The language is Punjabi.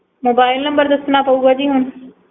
ਮੋਬਾਇਲ ਨੰਬਰ ਦੱਸਣਾ ਪਉਗਾ ਜੀ ਹੁਣ